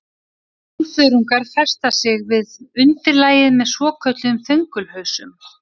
Brúnþörungar festa sig við undirlagið með svokölluðum þöngulhausum.